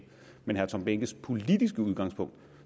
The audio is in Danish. men herre tom behnkes politiske udgangspunkt